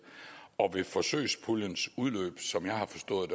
ved forsøgspuljens udløb som jeg har forstået